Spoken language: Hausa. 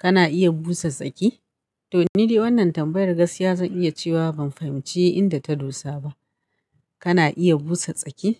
Kana iya busa tsaki? To ni dai wannan tambayar gaskiya zan iya cewa ban fahimci inda ta dosa ba. Kana iya busa tsaki?